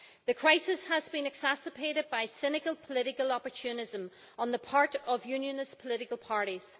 The crisis has been exacerbated by cynical political opportunism on the part of Unionist political parties.